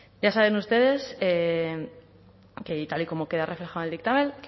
ya saben ustedes que y tal y como queda reflejado en el dictamen